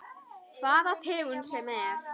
Hvaða tegund sem er.